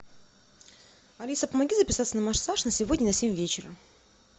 алиса помоги записаться на массаж на сегодня на семь вечера